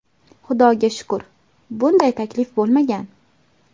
Xudoga shukur, bunday taklif bo‘lmagan.